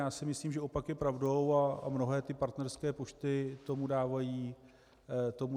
Já si myslím, že opak je pravdou, a mnohé partnerské pošty tomu dávají za pravdu.